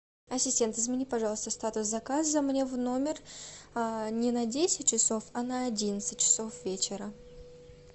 ассистент измени пожалуйста статус заказа мне в номер не на десять часов а на одиннадцать часов вечера